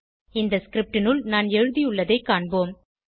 இந்த scriptனுள் நான் எழுதியுள்ளதைக் காண்போம்